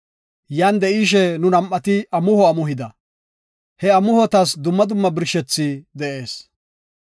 Yan de7ishe nu nam7ati amuho amuhida. He amuhotas dumma dumma birshethay de7ees.